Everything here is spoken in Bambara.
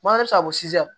bɛ se ka fɔ